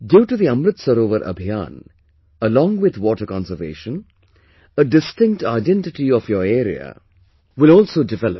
Due to the Amrit Sarovar Abhiyan, along with water conservation, a distinct identity of your area will also develop